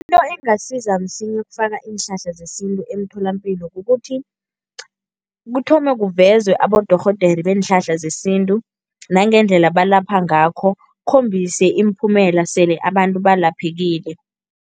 Into engasiza msinya ukufaka iinhlahla zesintu emtholampilo kukuthi, kuthome kuvezwe abodorhodere beenhlahla zesintu nangendlela balapha ngakho, kukhombise imiphumela sele abantu balaphekile.